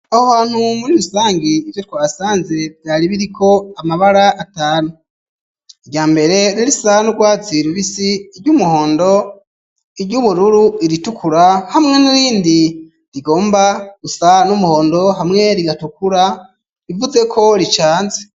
Aho hantu muri rusange ivyo twasanze vyaribiriko amabara atanu irya mbere ririsandwa zirubisi iryo umuhondo iryoubururu iritukura hamwe n'irindi rigomba gusa n'umuhondo hamwe rigatukura bivuze ko ricanze.